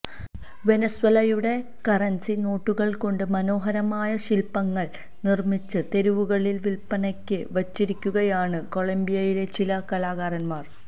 വെനസ്വേലയുടെ കറന്സി നോട്ടുകള്കൊണ്ട് മനോഹരമായ ശില്പ്പങ്ങള് നിര്മ്മിച്ച് തെരുവുകളില് വില്പ്പനക്ക് വച്ചിരിക്കുകയാണ് കൊളംബിയയിലെ ചില കലാകാരന്മാര്